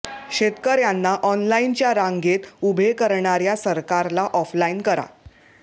शेतकर्यांना ऑनलाईनच्या रांगेत उभे करणार्या सरकारला ऑफलाईन करा